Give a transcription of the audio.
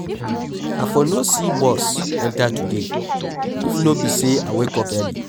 I for no see bus enter today if no be say I wake up early.